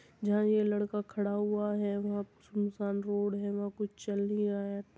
जहां ये लड़का खड़ा हुआ है वहा सूनसान रोड है वहां कुछ चल नहीं रहा है।